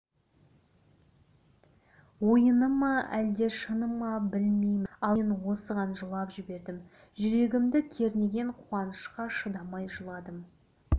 ойыны ма әлде шыны ма білмеймін ал мен осыған жылап жібердім жүрегімді кернеген қуанышқа шыдамай жыладым